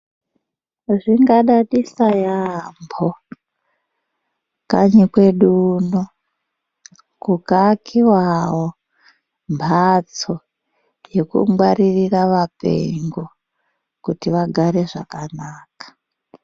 Zvingadadisa yamho kanyi kwedu uno kukaakiwawo mhatso yekungwaririra vapengo kuti vagare zvakanaka.